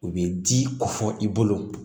U bɛ di ko fɔ i bolo